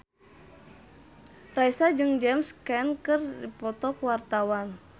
Raisa jeung James Caan keur dipoto ku wartawan